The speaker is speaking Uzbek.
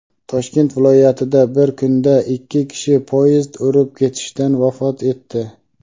Toshkent viloyatida bir kunda ikki kishi poyezd urib ketishidan vafot etdi.